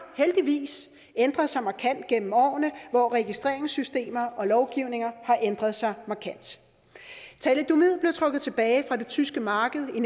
heldigvis ændret sig markant gennem årene hvor registreringssystemer og lovgivning har ændret sig markant thalidomid blev trukket tilbage fra det tyske marked i